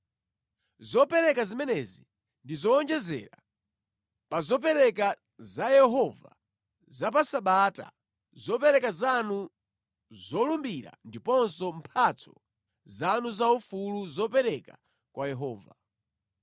Zopereka zimenezi ndi zowonjezera pa zopereka za Yehova za pa Sabata, zopereka zanu zolumbira ndiponso mphatso zanu zaufulu zopereka kwa Yehova.)